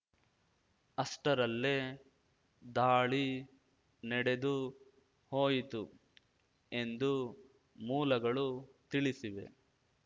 ಅಷ್ಟರಲ್ಲೇ ದಾಳಿ ನೆಡೆದು ಹೋಯಿತು ಎಂದು ಮೂಲಗಳು ತಿಳಿಸಿವೆ